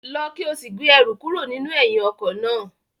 Lọ ki o si gbe ẹru kuro ninu ẹhin ọkọ naa!